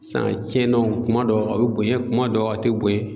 san a cɛnna o kuma dɔ a bɛ bonɲɛ kuma dɔ a tɛ bonɲɛ.